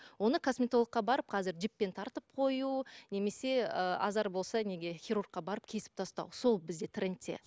оны косметологқа барып қазір жіппен тартып қою немесе ы азар болса неге хирургқа барып кесіп тастау сол бізде трендте